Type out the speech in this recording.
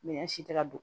Minɛn si tɛ ka don